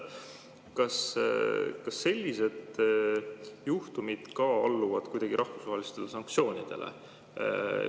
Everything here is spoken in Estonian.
Kas sellised juhtumid ka alluvad kuidagi rahvusvahelistele sanktsioonidele?